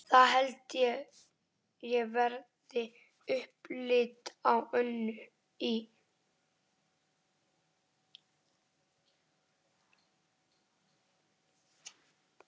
Það held ég verði upplit á Önnu í